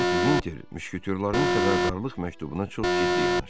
Lord Vinter müşküyorların xəbərdarlıq məktubuna çox ciddi yanaşdı.